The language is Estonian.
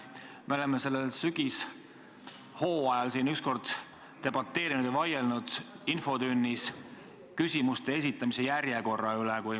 Me oleme sellel sügishooajal siin üks kord debateerinud ja vaielnud infotunnis küsimuste esitamise järjekorra üle.